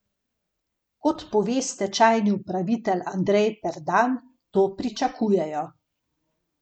Kot pove stečajni upravitelj Andrej Perdan, to pričakujejo.